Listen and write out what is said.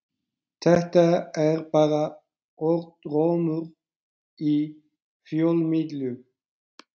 Þetta er bara orðrómur í fjölmiðlum.